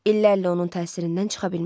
İllərlə onun təsirindən çıxa bilmədi.